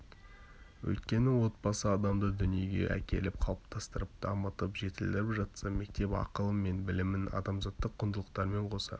өйткені отбасы адамды дүниеге әкеліп қалыптастырып дамытып жетілдіріп жатса мектеп ақылы мен білімін адамзаттық құндылықтармен қоса